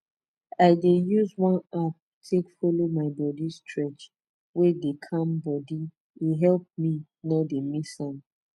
i dey use one app take follow my body stretch wey dey calm body e help me no dey miss am